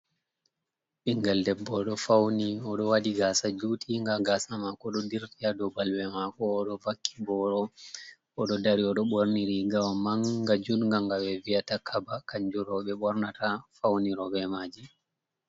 Ɓingal debbo oɗo fauni oɗo waɗi gasa jutinga. Gasa mako ɗo dirti ha dou balbe mako. Oɗo vakki boro, oɗo dari, odo ɓorni rigawa manga judga'ngawa ɓeviya "takaba" kanju roɓe ɓornata fauniroji be maji.